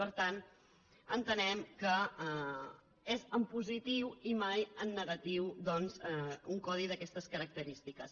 per tant entenem que és en positiu i mai en negatiu doncs un codi d’aquestes característiques